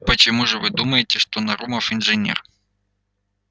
почему же вы думаете что нарумов инженер